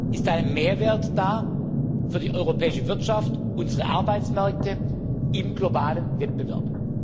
ist ein Mehrwert da für die europäische Wirtschaft, unsere Arbeitsmärkte im globalen Wettbewerb.